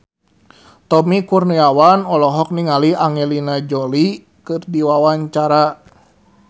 Tommy Kurniawan olohok ningali Angelina Jolie keur diwawancara